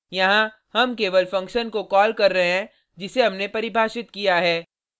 यहाँ हम केवल फंक्शन को कॉल कर रहे हैं जिसे हमने परिभाषित किया है